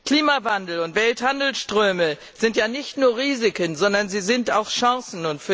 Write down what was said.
Klimawandel und Welthandelsströme sind nicht nur Risiken, sondern sie sind auch Chancen.